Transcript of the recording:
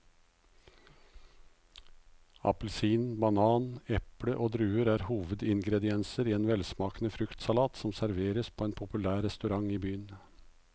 Appelsin, banan, eple og druer er hovedingredienser i en velsmakende fruktsalat som serveres på en populær restaurant i byen.